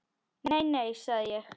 Nei, nei, sagði ég.